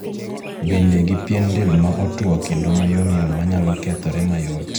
Bende gi pien del ma otuo kendo ma yomyom manyalo kethore mayot.